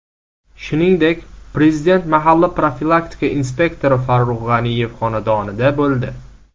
Shuningdek, Prezident mahalla profilaktika inspektori Farruh G‘aniyev xonadonida bo‘ldi.